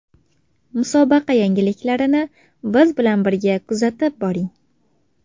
Musobaqa yangiliklarini biz bilan birga kuzatib boring!